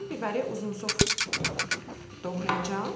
Bibəri uzunsov doğrayacam.